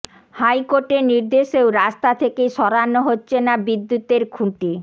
হাইকোর্টের নির্দেশেও রাস্তা থেকে সরানো হচ্ছে না বিদ্যুতের খুঁটি